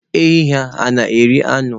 Ehi hà na-eri anụ?